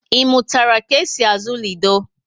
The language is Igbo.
I mụtara ka e si azụ lido?